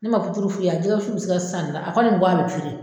Ne man puturu f'i ye wa jɛgɛ wusu bɛ se ka san a kɔni